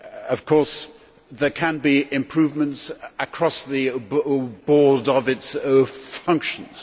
Of course there can be improvements, across the board, in its functions.